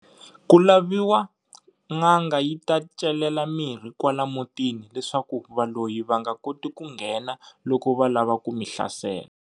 Ku laviwa n'anga yi ta celela mirhi kwala mutini leswaku valoyi va nga koti ku nghena loko va lava ku mi hlasela.